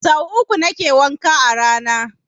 Sau uku nake wanka a rana